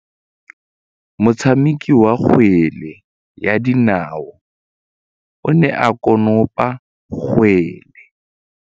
Motshameki wa kgwele ya dinaô o ne a konopa kgwele.